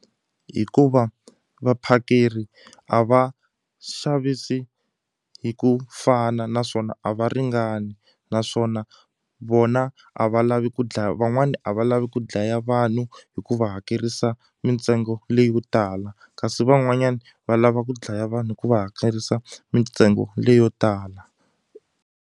Hikuva vaphakeri a va xavisi hi ku fana naswona a va ringani naswona vona a va lavi ku dlaya van'wani a va lavi ku dlaya vanhu hikuva hakerisa mintsengo leyo tala kasi van'wanyani va lava ku dlaya vanhu hi ku va hakerisa mintsengo leyo tala.